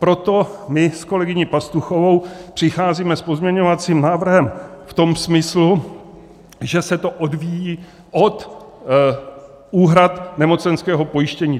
Proto my s kolegyní Pastuchovou přicházíme s pozměňovacím návrhem v tom smyslu, že se to odvíjí od úhrad nemocenského pojištění.